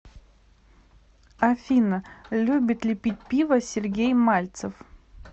афина любит ли пить пиво сергей мальцев